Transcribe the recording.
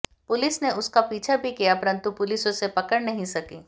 police ने उसका पीछा भी किया परंतु पुलिस उसे पकड़ नहीं सकी